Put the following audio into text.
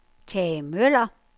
Tage Møller